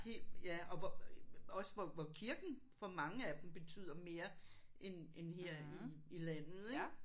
Helt ja og hvor også hvor hvor kirken for mange af dem betyder mere end end her i i landet ik